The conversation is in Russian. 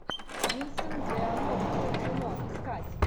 винсент д онофрио кино искать